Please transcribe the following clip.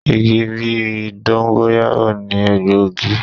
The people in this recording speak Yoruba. Igi bí i dóngọ́yáró ni egbòogi.